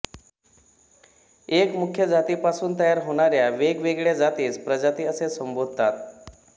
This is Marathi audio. एका मुख्य जाती पासून तयार होणाऱ्या वेग वेगळ्या जातीस प्रजाती असे संबोधतात